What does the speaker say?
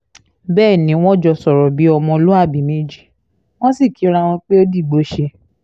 bẹ́ẹ̀ ni wọ́n jọ sọ̀rọ̀ bíi ọmọlúàbí méjì wọ́n sì kíra pé ó dìgbòóṣe